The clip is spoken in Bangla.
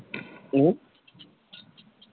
হম